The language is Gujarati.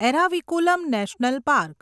Eravikulam national park